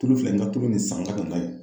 Tulu filɛ nin ka tulu nin san ka na n'a ye